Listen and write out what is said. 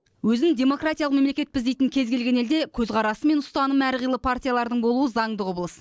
өзін демократиялық мемлекетпіз дейтін кез келген елде көзқарасы мен ұстанымы әр қилы партиялардың болуы заңды құбылыс